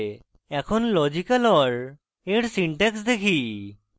এখন logical or or syntax দেখি